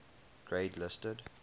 grade listed